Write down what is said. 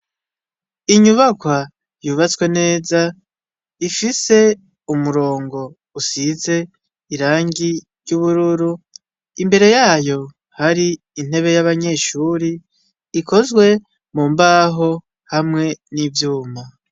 inyubakwa yubatswe neza ifise umurongo usize irangi ry'ubururu imbere yayo hari intebe y'abanyeshuri ikozwe mu mbaho hamwe n'ivyuma.